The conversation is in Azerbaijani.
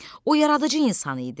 O yaradıcı insan idi.